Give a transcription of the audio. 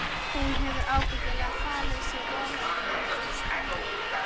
Hún hefur ábyggilega falið sig ofan í einhverju stígvéli.